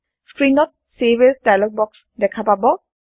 স্ক্ৰীণত save as dialog box দেখা পাব